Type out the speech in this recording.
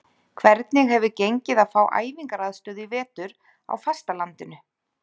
Hvernig hefur gengið að fá æfingaaðstöðu í vetur á fastalandinu?